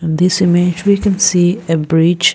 in this image we can see a bridge.